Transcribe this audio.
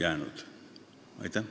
Aitäh!